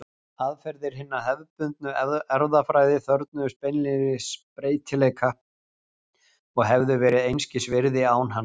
Aðferðir hinnar hefðbundnu erfðafræði þörfnuðust beinlínis breytileika og hefðu verið einskis virði án hans.